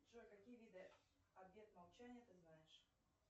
джой какие виды обет молчания ты знаешь